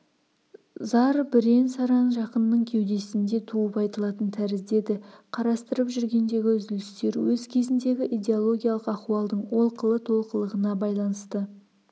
зар бірен-саран жақынның кеудесінде туып айтылатын тәрізді еді қарастырып жүргендегі үзілістер өз кезіндегі идеологиялық ахуалдың олқылы-толқылығына байланысты